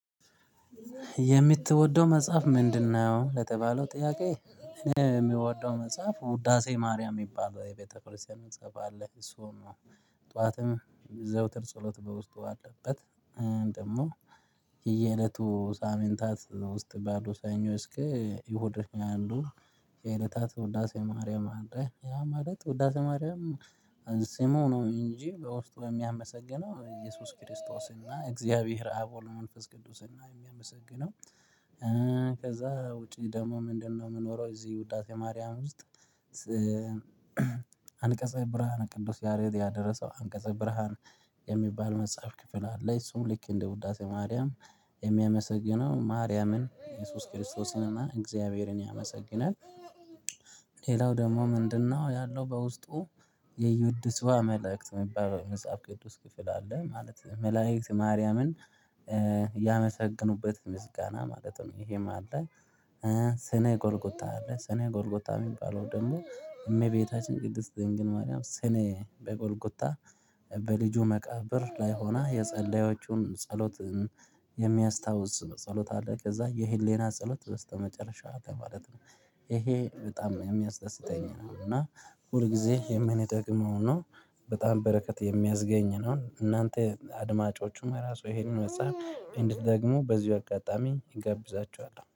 የምትወደው መጽሐፍ ምንድነው? ለተባለው ጥያቄ የሚወደው መጽሐፍ ውዳሴ ማርያም የሚባል የቤተክርስቲያን መጽሐፍ አለ እሱን ነው። ጠዋትም የዘውትር ጸሎት በውስጡ አለበት። ደግሞ የየእለቱ ሳምንታት ውስጥ ባሉ ሰኞ እስከ እሁድ ያ አሉ። የዕለታት ውዳሴ ማርያም አለ ያ ማለት ውዳሴ ማርያም። ስሙ ነው እንጂ በውስጡ የሚያመሰግነው ኢየሱስ ክርስቶስና እግዚአብሔር አብ ወልመንፈስ ቅዱስና የሚያመሰግነው። ከዛ ውጪ ደግሞ ምንድነው? የምኖረው እዚህ ውዳሴ ማርያም ውስጥ። አንቀጸ ብርሃን ቅዱስ ያሬድ ያደረሰው አንቀጸ ብርሃን የሚባል መጽሐፍ ክፍል አለ። እሱም ልክ እንደ ውዳሴ ማርያም የሚያመሰግነው ማርያምን ኢየሱስ ክርስቶስንና እግዚአብሔርን ያመሰግናል። ሌላው ደግሞ ምንድነው? ያለው በውስጡ። የዩድስዋ መልእክት የሚባል መጽሐፍ ቅዱስ ክፍል አለ ማለት መላእክት ማርያምን ያመሰገኑበት ምስጋና ማለት ነው። ይሄም አለ። ስነ ጎልጎታ አለ ስነ ጎልጎታ የሚባለው ደግሞ እመቤታችን ቅድስት ደንግል ማርያም ስኔ በጎልጉታ በልጁ መቃብር ላይ ሆና የጸለዮቹን ጸሎት የሚያስታውስ ጸሎት አለ። ከዛ የሄሌና ጸሎት በስተመጨረሻ ማለት ነው። ይሄ በጣም የሚያስደስተኝ ነው እና ሁል ጊዜ የምንጠቅመው ነው። በጣም በረከት የሚያዝገኝ ነው እናንተ አድማጮቹም ራሱ ይሄንን መጽሐፍ እንድትደግመው በዚህ አጋጣሚ እጋብዛችኋለሁ